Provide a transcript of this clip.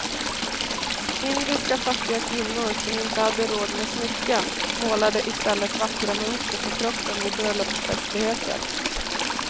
Indiska fattiga kvinnor som inte hade råd med smycken målade i stället vackra mönster på kroppen vid bröllopsfestligheter.